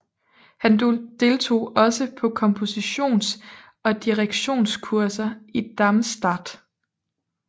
Han deltog også på kompositions og direktionskurser i Darmstadt